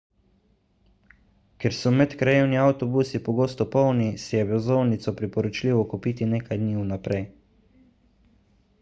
ker so medkrajevni avtobusi pogosto polni si je vozovnico priporočljivo kupiti nekaj dni vnaprej